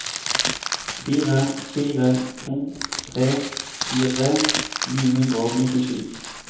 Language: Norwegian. fire fire to tre tjuetre ni hundre og nittisju